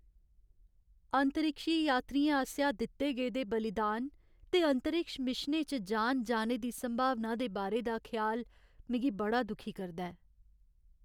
अंतरिक्षी यात्रियें आसेआ दित्ते गेदे बलिदान ते अंतरिक्ष मिशनें च जान जाने दी संभावना दे बारे दा ख्याल मिगी बड़ा दुखी करदा ऐ।